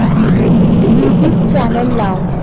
YouTube channel लाव